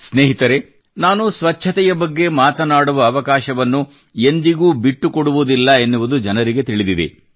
ಸ್ನೇಹಿತರೇ ನಾನು ಸ್ವಚ್ಛತೆಯ ಬಗ್ಗೆ ಮಾತನಾಡುವ ಅವಕಾಶವನ್ನು ಎಂದಿಗೂ ಬಿಟ್ಟುಕೊಡುವುದಿಲ್ಲ ಎನ್ನುವುದು ಜನರಿಗೆ ತಿಳಿದಿದೆ